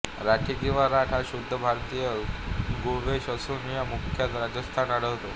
राठी किंवा राठ हा शुद्ध भारतीय गोवंश असून हा मुख्यतः राजस्थान आढळतो